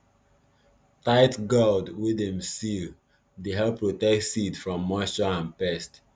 tight gourd wey dem seal dey help protect seed from moisture and pest